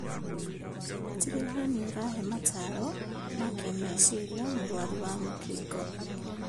Tigĩrĩra nĩũrahee mataro ma kĩmeciria mũrwaru wa mũkingo